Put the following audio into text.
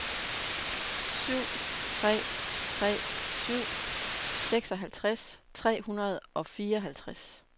syv tre tre syv seksoghalvtreds tre hundrede og fireoghalvtreds